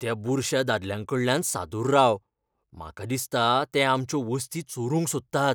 त्या बुरश्या दादल्यांकडल्यान सादूर राव. म्हाका दिसता ते आमच्यो वस्ती चोरूंक सोदतात.